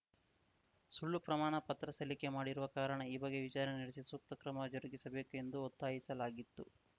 ಸುಳ್ಳು ಪ್ರಮಾಣ ಪತ್ರ ಸಲ್ಲಿಕೆ ಮಾಡಿರುವ ಕಾರಣ ಈ ಬಗ್ಗೆ ವಿಚಾರಣೆ ನಡೆಸಿ ಸೂಕ್ತ ಕ್ರಮ ಜರುಗಿಸಬೇಕು ಎಂದು ಒತ್ತಾಯಿಸಲಾಗಿತ್ತು